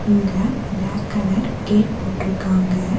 இங்க black colour gate போட்ருக்காங்க.